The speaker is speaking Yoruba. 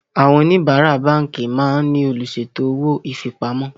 Àwọn oníbárá báńkì máa ń ní olùṣètò owó ifipamọ́